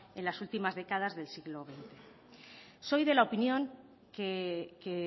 en las últimas décadas del siglo veinte soy de la opinión que